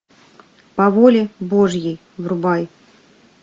по воле божьей врубай